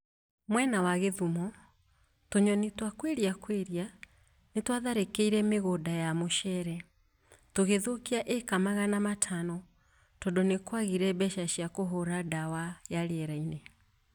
Mwena wa Kisumu, tũnyoni twa Quelea Quelea nĩtwatharĩkĩire mĩgũnda ya mũcere tũgithũkia ĩĩka magana Matano tondũ nĩkwagire mbeca cia kũhũra dawa ya rĩera-inĩ